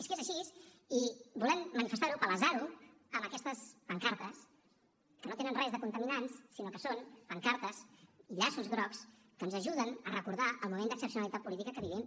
és que és així i volem manifestar ho palesar ho amb aquestes pancartes que no tenen res de contaminants sinó que són pancartes i llaços grocs que ens ajuden a recordar el moment d’excepcionalitat política que vivim